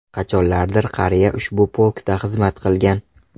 Qachonlardir qariya ushbu polkda xizmat qilgan.